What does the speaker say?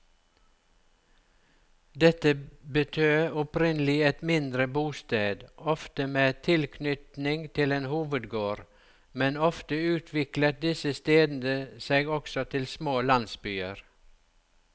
Dette betød opprinnelig et mindre bosted, ofte med tilknytning til en hovedgård, men ofte utviklet disse stedene seg også til små landsbyer.